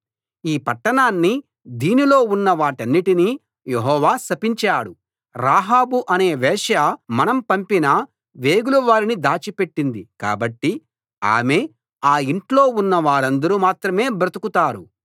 ఈ పట్టణాన్నీ దీనిలో ఉన్నవాటన్నిటినీ యెహోవా శపించాడు రాహాబు అనే వేశ్య మనం పంపిన వేగులవారిని దాచిపెట్టింది కాబట్టి ఆమె ఆ ఇంట్లో ఉన్న వారందరు మాత్రమే బ్రదుకుతారు